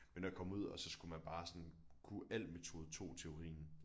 Men at komme ud og så skulle man bare sådan kunne al metode 2 teorien